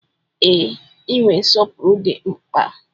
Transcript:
Ee, inwe nsọpụrụ dị mkpa.